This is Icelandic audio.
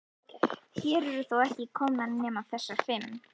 Hér eru þó ekki komnar nema þessar fimm.